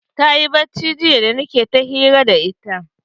Tayi bacci jiya da nike ta hira da ita.